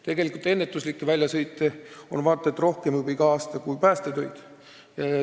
Tegelikult on ennetuslikke väljasõite vaata et rohkem juba kui päästetöid.